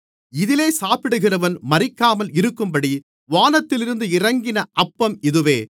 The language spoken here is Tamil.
இதிலே சாப்பிடுகிறவன் மரிக்காமலும் இருக்கும்படி வானத்திலிருந்து இறங்கின அப்பம் இதுவே